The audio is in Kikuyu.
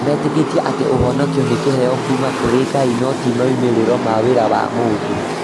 Metĩkĩtie atĩ ũhonokio nĩ kĩheo kuuma kũrĩ Ngai, no ti moimĩrĩro ma wĩra wa mũndũ.